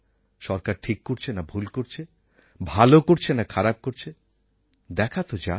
সরকার ঠিক করছে না ভুল করছে ভালো করছে না খারাপ করছে দেখা তো যাক